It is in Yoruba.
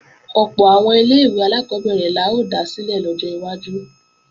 Ọ̀pọ̀ àwọn ilé-ìwé alákọ́bẹ̀rẹ̀ la ó dá sílẹ̀ lọ́jọ́ iwájú